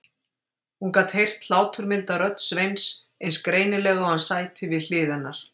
Hún gat heyrt hláturmilda rödd Sveins eins greinilega og hann sæti við hlið hennar.